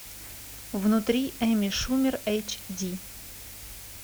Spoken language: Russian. внутри эмми шумер эйч ди